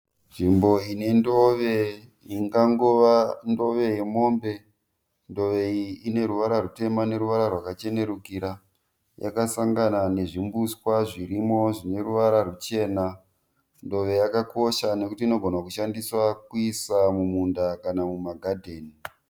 Nzvimbo ine ndove ingangova ndove yemombe. Ndove iyi ine ruvara rutema neruwara rwakachenurukira yakasangana nezvimbuswa zvirimo zvine ruwara ruchena. Ndove yakakosha nekuti inogona kushandiswa kuiswa muminda kana muma gadheni.